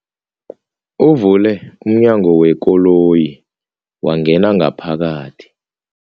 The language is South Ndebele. Uvule umnyango wekoloyi wangena ngaphakathi.